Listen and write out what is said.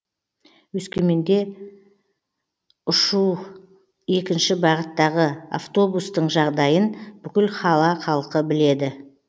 өскеменде ұшу екінші бағыттағы автобустың жағдайын бүкіл қала халқы біледі